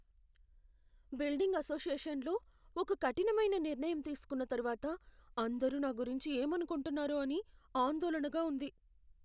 Building అసోసియేషన్లో ఒక కఠినమైన నిర్ణయం తీసుకున్న తర్వాత అందరూ నా గురించి ఏమనుకుంటున్నారో అని ఆందోళనగా ఉంది.